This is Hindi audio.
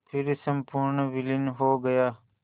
फिर संपूर्ण विलीन हो गया